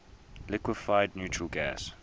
liquefied natural gas